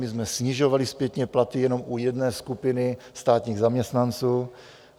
My jsme snižovali zpětně platy jenom u jedné skupiny státních zaměstnanců.